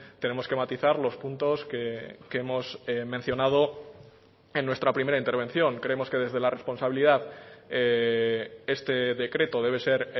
tenemos que matizar los puntos que hemos mencionado en nuestra primera intervención creemos que desde la responsabilidad este decreto debe ser